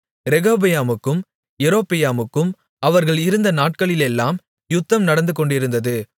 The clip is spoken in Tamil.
ரெகொபெயாமுக்கும் யெரொபெயாமுக்கும் அவர்கள் இருந்த நாட்களிலெல்லாம் யுத்தம் நடந்துகொண்டிருந்தது